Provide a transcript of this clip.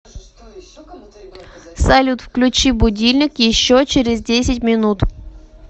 салют включи будильник еще через десять минут